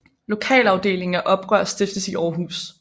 Lokalafdeling af Oprør stiftes i Århus